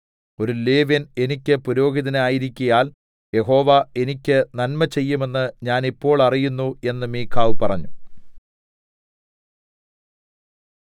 ഒരു ലേവ്യൻ എനിക്ക് പുരോഹിതനായിരിക്കയാൽ യഹോവ എനിക്ക് നന്മചെയ്യുമെന്ന് ഞാൻ ഇപ്പോൾ അറിയുന്നു എന്ന് മീഖാവ് പറഞ്ഞു